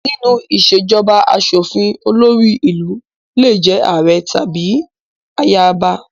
Nínú ìṣèjọba aṣòfin, olórí ìlú lè jẹ́ ààrẹ àbí ayaba